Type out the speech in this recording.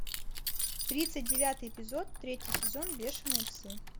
тридцать девятый эпизод третий сезон бешеные псы